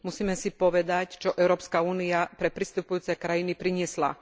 Musíme si povedať, čo Európska únia pre pristupujúce krajiny priniesla.